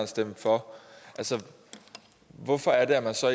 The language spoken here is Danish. stemme for altså hvorfor er det at man så